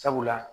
Sabula